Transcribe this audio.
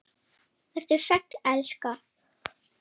Vertu sæll, elska.